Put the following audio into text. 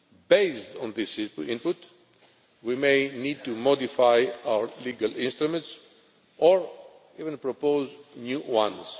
Based on this input, we may need to modify our legal instruments, or even propose new ones.